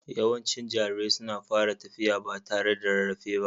Yawancin jarirai suna fara tafiya ba tare da rarrafe ba.